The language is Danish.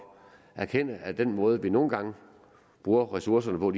erkende at den måde vi nogle gange bruger ressourcerne på